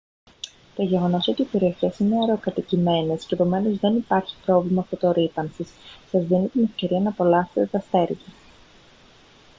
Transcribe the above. το γεγονός ότι οι περιοχές είναι αραιοκατοικημένες κι επομένως δεν υπάρχει πρόβλημα φωτορρύπανσης σας δίνει την ευκαιρία να απολαύσετε τα αστέρια